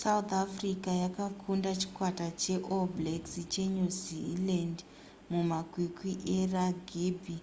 south africa yakakunda chikwata cheall blacks chenew zealand mumakwikwi eragibhi